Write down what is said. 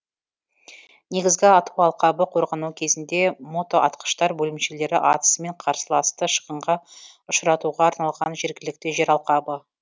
негізгі ату алқабы қорғану кезінде мотоатқыштар бөлімшелері атысымен қарсыласты шығынға ұшыратуға арналған жергілікті жер алқабы